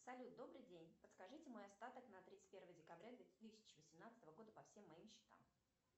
салют добрый день подскажите мой остаток на тридцать первое декабря две тысячи восемнадцатого года по всем моим счетам